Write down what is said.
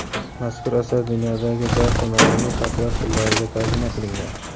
Mazkur asar dunyodagi barcha madaniy xalqlar tillariga tarjima qilingan.